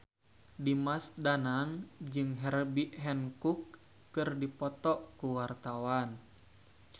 Dimas Danang jeung Herbie Hancock keur dipoto ku wartawan